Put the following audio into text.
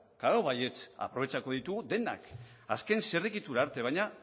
klaro baietz aprobetxatuko ditugu denak azken zirrikitu arte baina